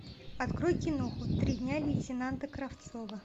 открой киноху три дня лейтенанта кравцова